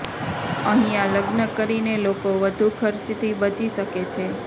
અહિયાં લગ્ન કરીને લોકો વધુ ખર્ચથી બચી શકે છે